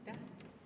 Aitäh!